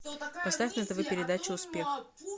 поставь на тв передачу успех